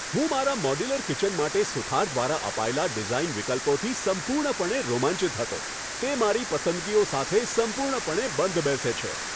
હું મારા modular kitchen માટે સુથાર દ્વારા અપાયેલા ડિઝાઈન વિકલ્પોથી સંપૂર્ણપણે રોમાંચિત હતો. તે મારી પસંદગીઓ સાથે સંપૂર્ણપણે બંધ બેસે છે!